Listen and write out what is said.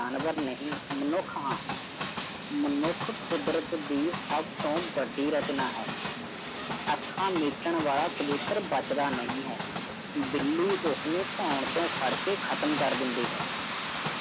ਮਨੁੱਖ ਹਾਂ, ਮਨੁੱਖ ਕੁਦਰਤ ਦੀ ਸਭ ਤੋਂ ਵੱਡੀ ਰਚਨਾ ਹੈ। ਅੱਖਾਂ ਮੀਟਣ ਵਾਲਾ ਕਬੂਤਰ ਬੱਚਦਾ ਨਹੀਂ ਹੈ, ਬਿੱਲੀ ਉਸਨੂੰ ਧੋਣ ਤੋਂ ਫੜ ਕੇ ਖਤਮ ਕਰ ਦਿੰਦੀ ਹੈ।